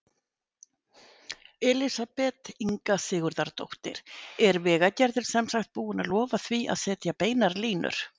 Elísabet Inga Sigurðardóttir: Er Vegagerðin sem sagt búin að lofa því að setja beinar línur?